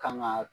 Kan ga